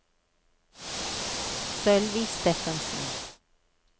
Sølvi Steffensen